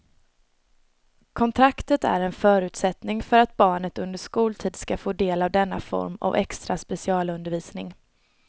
Kontraktet är en förutsättning för att barnet under skoltid ska få del av denna form av extra specialundervisning.